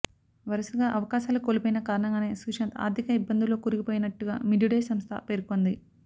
వరుసగా అవకాశాలు కోల్పోయిన కారణంగానే సుశాంత్ ఆర్ధిక ఇబ్బందుల్లో కూరుకుపోయినట్టుగా మిడ్ డే సంస్థ పేర్కోంది